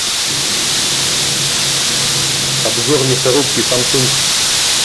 обзор мясорубки самсунг